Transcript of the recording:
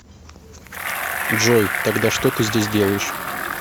джой тогда что ты здесь делаешь